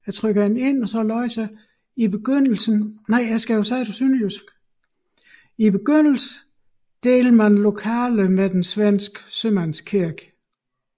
I begyndelsen delte man lokaler med den svenske sømandskirke